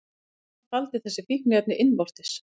Konan faldi þessi fíkniefni innvortis